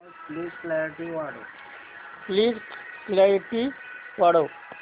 please clarity वाढव